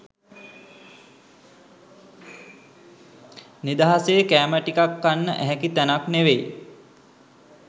නිදහසේ කෑම ටිකක් කන්න ඇහැකි තැනක් නෙවෙයි